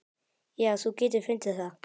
Já, þú getur fundið það.